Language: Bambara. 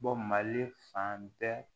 mali fan bɛɛ